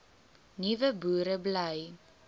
nuwe boere bly